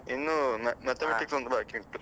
ಇನ್ನೂ Mathematics ಒಂದು ಬಾಕಿ ಉಂಟು